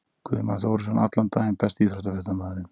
Guðmann Þórisson allan daginn Besti íþróttafréttamaðurinn?